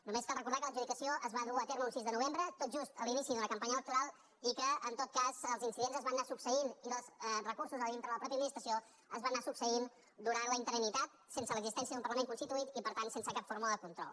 només cal recordar que l’adjudicació es va dur a terme un sis de novembre tot just a l’inici d’una campanya electoral i que en tot cas els incidents es van anar succeint i els recursos a dintre de la mateixa administració es van anar succeint durant la interinitat sense l’existència d’un parlament constituït i per tant sense cap fórmula de control